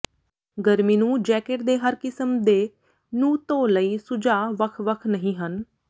ਗਰਮੀ ਨੂੰ ਜੈਕਟ ਦੇ ਹਰ ਕਿਸਮ ਦੇ ਨੂੰ ਧੋ ਲਈ ਸੁਝਾਅ ਵੱਖ ਵੱਖ ਨਹੀ ਹਨ